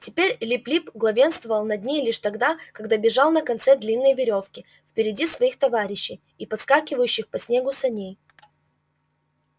теперь лип лип главенствовал над ней лишь тогда когда бежал на конце длинной верёвки впереди своих товарищей и подскакивающих по снегу саней